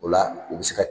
O la u bi se ka